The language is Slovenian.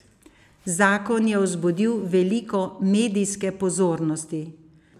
Zakon je vzbudil veliko medijske pozornosti.